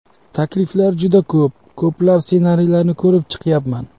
Takliflar juda ko‘p, ko‘plab ssenariylarni ko‘rib chiqyapman.